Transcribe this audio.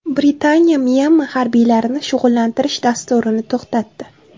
Britaniya Myanma harbiylarini shug‘ullantirish dasturini to‘xtatdi.